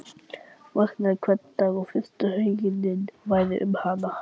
Vaknaði hvern dag og fyrsta hugsunin væri um hann.